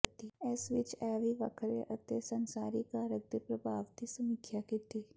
ਇਸ ਵਿਚ ਇਹ ਵੀ ਵੱਖਰੇ ਅਤੇ ਸੰਸਾਰੀ ਕਾਰਕ ਦੇ ਪ੍ਰਭਾਵ ਦੀ ਸਮੀਖਿਆ ਕੀਤੀ